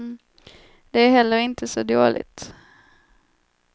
Det är heller inte så dåligt.